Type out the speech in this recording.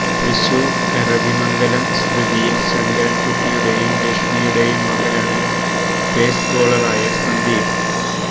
തൃശൂർ എരവിമംഗലം സ്മൃതിയിൽ ശങ്കരൻകുട്ടിയുടെയും ലക്ഷ്മിയുടെയും മകനാണ് പേസ് ബോളറായ സന്ദീപ്